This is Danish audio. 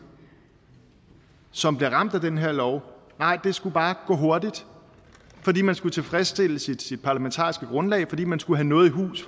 som bliver ramt af den her lov nej det skulle bare gå hurtigt fordi man skulle tilfredsstille sit parlamentariske grundlag fordi man skulle have noget i hus